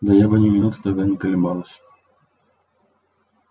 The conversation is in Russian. да я бы ни минуты тогда не колебалась